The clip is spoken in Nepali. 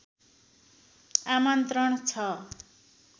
आमन्त्रण छ